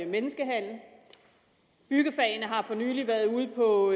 menneskehandel byggefagene har for nylig været ude på